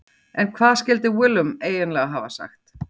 En hvað skildi Willum eiginlega hafa sagt?